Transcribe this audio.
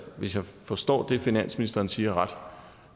hvis jeg forstår det finansministeren siger ret